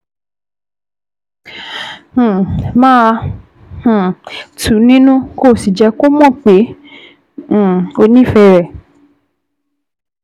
um Máa um tù ú nínú, kó o sì jẹ́ kó mọ̀ pé um o nífẹ̀ẹ́ rẹ̀